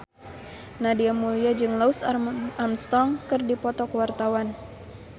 Nadia Mulya jeung Louis Armstrong keur dipoto ku wartawan